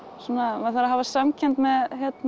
maður þarf að hafa samkennd með